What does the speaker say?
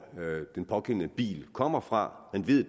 den pågældende bil kommer fra man ved